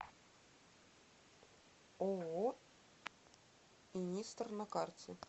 ооо инистор на карте